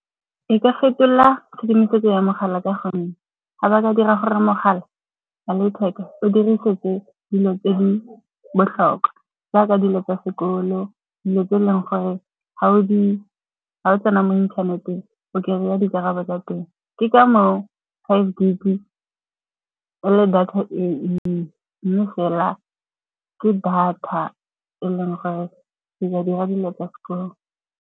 E ka fetola tshedimosetso ya mogala ka gonne ga ba ka dira gore mogala wa letheka o dirisetswe dilo tse di botlhokwa jaaka dilo tsa sekolo, dilo tse e leng gore ga o tsena mo inthaneteng o kry-a dikarabo tsa teng. Ke ka moo five gig-e e leng data e nnye, mme fela ke data e leng gore e ka dira dilo tsa sekolo.